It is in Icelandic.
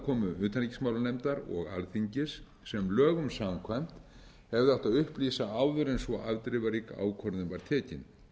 aðkomu utanríkismálanefndar og alþingis sem lögum samkvæmt hefði átt að upplýsa áður en svo afdrifarík ákvörðun var tekin